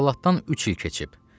Əhvalatdan üç il keçib.